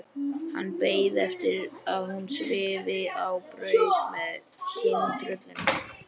Hann beið eftir að hún svifi á braut með kyntröllinu.